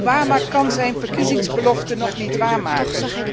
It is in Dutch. Obama kan zijn verkiezingsbelofte nog niet waarmaken.